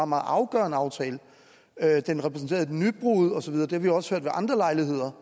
meget afgørende aftale at den repræsenterede et nybrud osv men det har vi også hørt ved andre lejligheder